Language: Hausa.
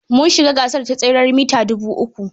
Mun shiga gasar teseren mita dubu uku.